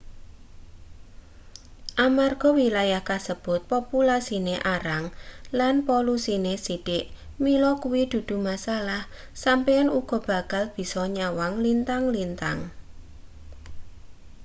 amarga wilayah kasebut populasine arang lan polusine sithik mila kuwi dudu masalah sampeyan uga bakal bisa nyawang lintang-lintang